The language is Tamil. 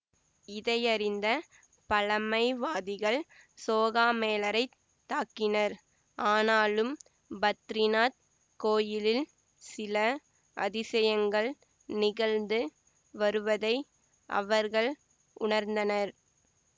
இதையறிந்த பழமைவாதிகள் சோகாமேளரைத் தாக்கினர் ஆனாலும் பத்ரிநாத் கோயிலில் சில அதிசயங்கள் நிகழ்ந்து வருவதை அவர்கள் உணர்ந்தனர்